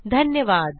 धन्यवाद